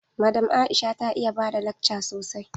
Madam Aisha ta iya bada lakca sosai.